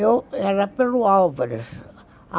Eu era pelo Alvarez.